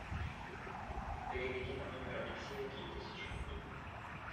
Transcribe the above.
переведи на номер алексея три тысячи рублей